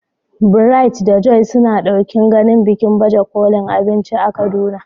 Bright da Joy suna ɗokin ganin bikin baje kolin abinci a Kaduna.